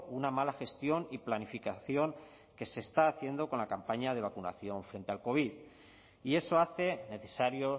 una mala gestión y planificación que se está haciendo con la campaña de vacunación frente al covid y eso hace necesario